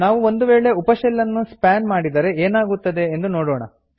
ನಾವು ಒಂದು ವೇಳೆ ಉಪ ಶೆಲ್ ನ್ನು ಸ್ಪಾನ್ ಮಾಡಿದರೆ ಏನಾಗುತ್ತದೆ ಎಂದು ನೋಡೋಣ